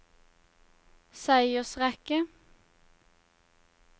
seiersrekke